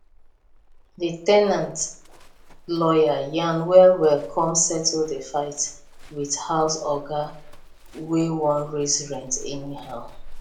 the ten ant lawyer yarn well well come settle the fight with house oga wey wan raise rent anyhow